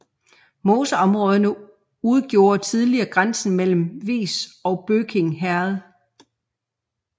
Moseområderne udgjorde tidligere grænsen mellem Vis og Bøking Herred